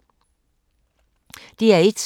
DR1